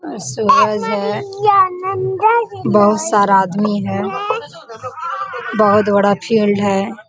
और सूरज है बहुत सारा आदमी है बहुत बड़ा फील्ड है।